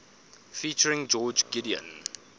featuring george gideon